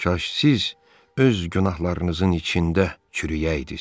Kaş siz öz günahlarınızın içində çürüyəydiz.